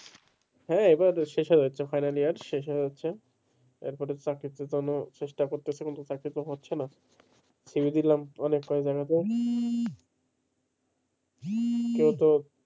হ্যাঁ এবার শেষ হয়ে যাচ্ছে আছে final year শেষ হয়ে যাচ্ছে এর পরে চাকরি preparation নেব চেষ্টা করতে কিন্তু চাকরি তো হচ্ছে না cv দিলাম অনেক জায়গাতে কেউ তো,